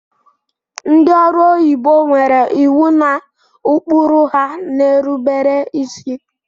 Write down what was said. Ndị ọrụ onyibo nwere iwu na ụkpụrụ ha na-erubere isi